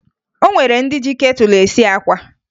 O nwere ndị ji ketụlụ esi àkwá